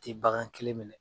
tɛ bagan kelen minɛ